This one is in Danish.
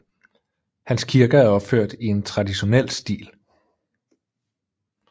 Hans kirker er opført i en traditionel stil